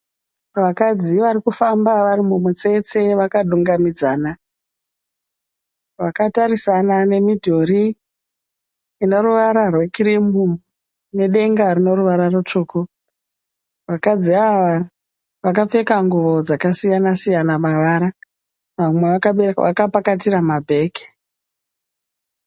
Vakadzi varikufamba vari mumutsetse vakadumgamidzana, vakatarisana nemidhuri ine ruvara rwekirimu nedenga rine ruvara rutsvuku. Vakadzi ava vakapfeka nguwo dzakasiyana siyana mavara, vamwe vakapakatira mabheke